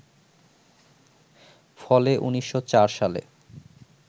ফলে ১৯০৪ সালে